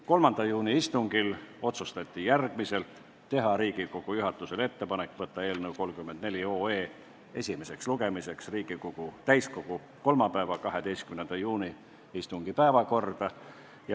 3. juuni istungil otsustati teha Riigikogu juhatusele ettepanek võtta eelnõu 34 esimeseks lugemiseks Riigikogu täiskogu 12. juuni istungi päevakorda.